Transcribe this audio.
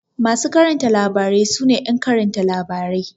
Masu karanta labarai su ne ƴan karanta labarai.